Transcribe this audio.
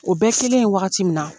O bɛ kelen wagati min na